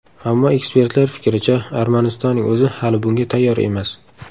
Ammo ekspertlar fikricha, Armanistonning o‘zi hali bunga tayyor emas.